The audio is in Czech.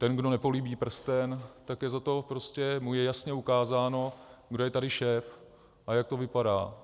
Ten, kdo nepolíbí prsten, tak je za to... prostě mu je jasně ukázáno, kdo je tady šéf a jak to vypadá.